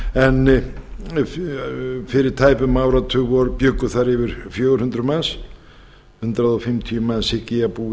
en fyrir tæpum áratug bjuggu þar yfir fjögur hundruð manns hundrað fimmtíu manns hygg ég að búi